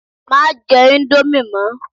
Má jẹ íńdómì mọ!